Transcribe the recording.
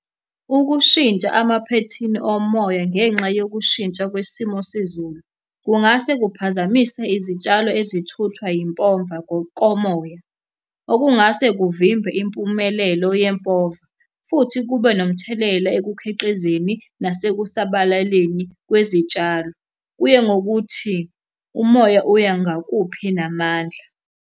Ukushintsha emaphethini omoya ngenxa yokushintsha kwesimo sezulu, kungase kuphazamise izitshalo ezithuthwa yimpomva ngokomoya. Okungase kuvimbe impumelelo yempova, futhi kube nomthelela ekukhiqizeni nasekusabalaleni kwezitshalo. Kuye ngokuthi umoya uya ngakuphi namandla.